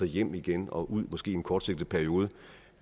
hjem igen og ud i måske kortsigtet periode